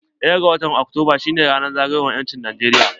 Ɗaya ga watan Oktoba shine ranan zagayowar 'yancin Najeriya.